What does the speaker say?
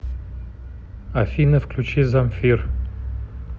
афина включи замфир